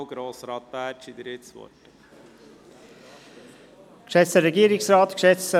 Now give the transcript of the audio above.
Grossrat Bärtschi, Sie haben das Wort.